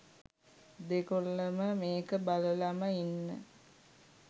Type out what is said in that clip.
දෙගොල්ලම මේක බලලම ඉන්න